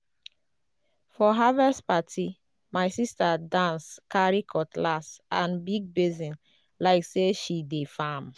for harvest party my sister dance carry cutlass and big basin like say she dey farm.